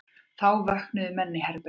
Þá vöknuðu menn í herberginu.